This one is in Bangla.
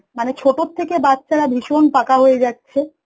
মানে ছোট থেকে বাচ্চারা ভীষণ পাকা হয়ে যাচ্ছে